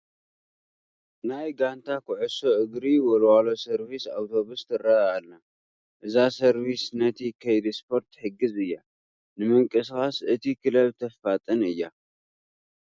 ናይ ጋንታ ኩዕሶ እግሪ ወልዋሎ ሰርቪስ ኣውቶቡስ ትርአ ኣላ፡፡ እዛ ሰርቪስ ነቲ ከይዲ ስፖርት ትሕግዝ እያ፡፡ ንምንቅስቓስ እቲ ክለብ ተፋጥን እያ፡፡